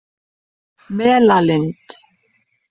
Melalind